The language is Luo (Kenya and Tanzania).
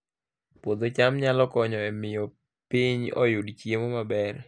Puodho cham nyalo konyo e miyo piny oyud chiemo maber